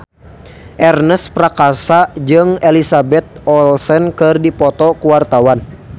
Ernest Prakasa jeung Elizabeth Olsen keur dipoto ku wartawan